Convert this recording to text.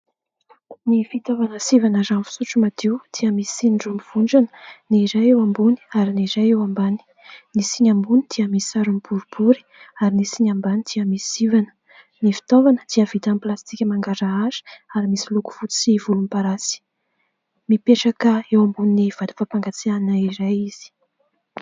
Ny fitaovana sivana rano fisotro madio dia misy siny roa mivondrona : ny iray eo ambony ary ny iray eo ambany. Ny siny ambony dia misarona boribory ary ny siny ambany dia misy sivana. Ny fitaovana dia vita amin'ny plastika mangarahara ary misy loko fotsy sy volomparasy. Mipetraka eo ambonin'ny vata fampangatsiahana izay izy.